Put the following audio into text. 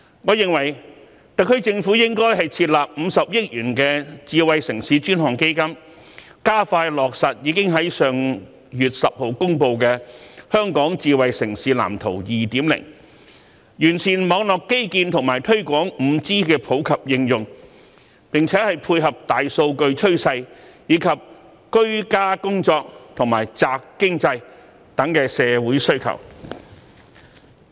我認為特區政府應設立50億元的智慧城市專項基金，加快落實已於上月10日公布的《香港智慧城市藍圖 2.0》，完善網絡基建及推廣 5G 的普及應用，並配合大數據趨勢和居家工作及宅經濟的社會需求。